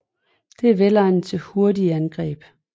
Det er velegnet til hurtige angreb